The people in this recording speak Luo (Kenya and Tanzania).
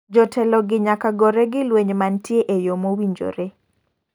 Jotelo gi nyaka gore gi lweny mantie eyo mowinjore.